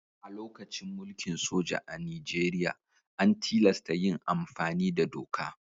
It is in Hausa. A lokacin mulkin soja a Nijeriya, an tilasta yin amfani da doka.